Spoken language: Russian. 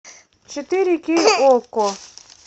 четыре кей окко